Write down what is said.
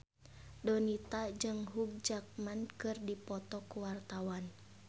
Donita jeung Hugh Jackman keur dipoto ku wartawan